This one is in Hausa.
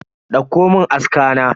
Dauko mun aska na.